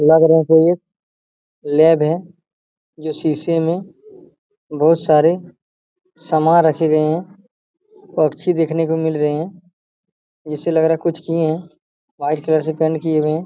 लग रहा कोई लैब है जो शीशे में बहुत सारे समान रखे गए हैं। पक्षी देखने को मिल रहें हैं जैसे लग रहें हैं कुछ किए हैं। व्हाइट कलर से पेंट किए हुए हैं।